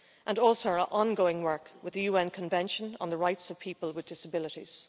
and our ongoing work with the UN Convention on the Rights of People with Disabilities.